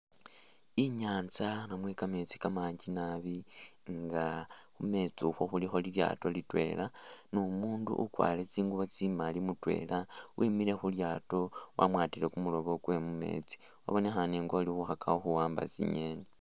Inyanza namwe kameetsi kamakaali naabi nga khumeetsi ukhu khulikho lilyaato litwela, umundu ukwarire tsinguubo tsi maali mutwela wemiile khulyaato wamwatiile kumuloobo umwana abonekhane nga ukana khuwamba tsingeni